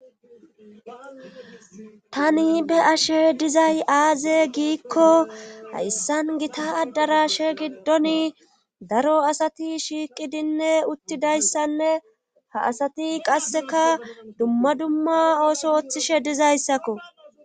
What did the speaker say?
Tani be ashe dizay aaze giikko hayssan gita addaraashe giddoni daro asati shiiqidinne uttidayssanne ha asati qasseka dumma dumma ooso oththishe dizayssakko.